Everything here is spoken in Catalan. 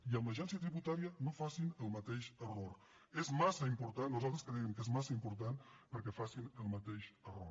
i amb l’agència tributària no facin el mateix error és massa important nosaltres creiem que és massa important perquè facin el mateix error